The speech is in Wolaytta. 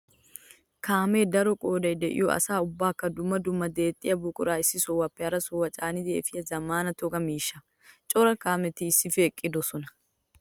Kaame daro qooday de'iyo asaa ubbakka dumma dumma deexxiya buqura issi sohuwappe hara sohuwa caaniddi efiya zamaana toga miishsha. Cora kaametti issippe eqqidosonna.